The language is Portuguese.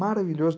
Maravilhoso.